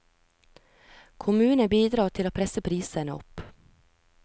Kommunen bidrar til å presse prisene opp.